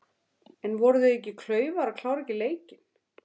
En voru þeir ekki klaufar að klára ekki leikinn?